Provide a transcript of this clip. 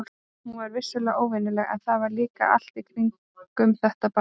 Hún var vissulega óvenjuleg, en það var líka allt í kringum þetta barn.